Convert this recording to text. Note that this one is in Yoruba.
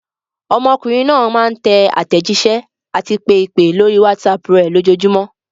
Ọmọkùnrin náà máa ń tẹ àtẹ̀jísẹ́ àti pe ìpè lórí WhatsApp rẹ̀ lójoojúmọ́.